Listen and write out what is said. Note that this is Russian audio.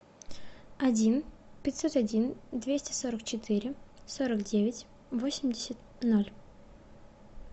один пятьсот один двести сорок четыре сорок девять восемьдесят ноль